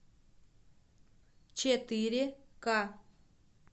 четыре ка